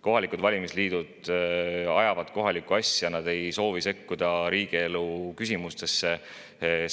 Kohalikud valimisliidud ajavad kohalikku asja, nad ei soovi sekkuda riigielu küsimustesse